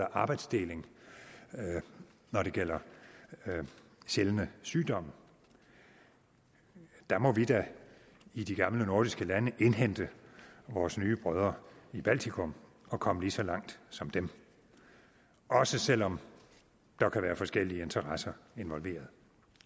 og arbejdsdeling når det gælder sjældne sygdomme der må vi da i de gamle nordiske lande indhente vores nye brødre i baltikum og komme ligeså langt som dem også selv om der kan være forskellige interesser involveret